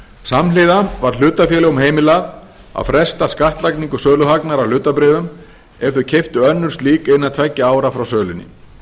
samhliða var hlutafélögum heimilað að fresta skattlagningu söluhagnaðar af hlutabréfum ef þau keyptu önnur slík innan tveggja ára frá sölunni